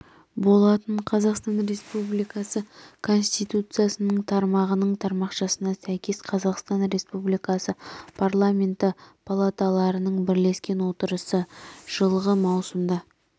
болатын қазақстан республикасы конституциясының тармағының тармақшасына сәйкес қазақстан республикасы парламенті палаталарының бірлескен отырысы жылғы маусымда